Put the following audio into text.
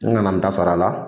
N kana n ta sara a la